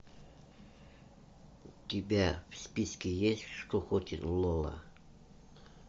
у тебя в списке есть что хочет лола